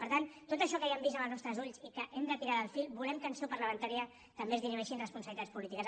per tant de tot això que ja hem vist amb els nostres ulls i que hem d’estirar el fil volem que en seu parlamentària també es dirimeixin responsabilitats polítiques